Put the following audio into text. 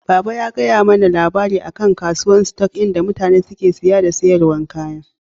Baba ya gaya mana labari akan kasuwan "stock" in da mutane suke siya da siyarwa kaya.